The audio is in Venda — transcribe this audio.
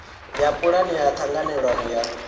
ya pulane ya ṱhanganelano ya